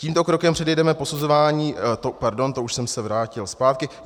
Tímto krokem předejdeme posuzování - pardon, to už jsem se vrátil zpátky.